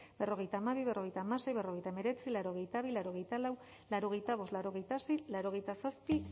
berrogeita hamabi berrogeita hamasei berrogeita hemeretzi laurogeita bi laurogeita lau laurogeita bost laurogeita sei laurogeita zazpi